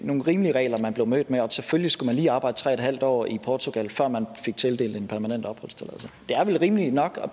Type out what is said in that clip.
nogle rimelige regler man blev mødt med at selvfølgelig skulle man lige arbejde tre en halv år i portugal før man fik tildelt en permanent opholdstilladelse det er vel rimeligt nok at